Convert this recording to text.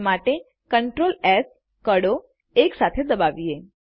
તે માટે CTRLS કળો એક સાથે દબાવીએ